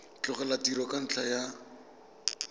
tlogela tiro ka ntlha ya